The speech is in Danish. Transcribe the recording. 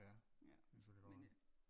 Nårh ja det kan selvfølgelig godt være